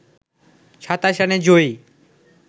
২৭ রানে জয়ী